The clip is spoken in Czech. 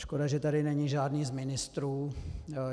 Škoda, že tady není žádný z ministrů.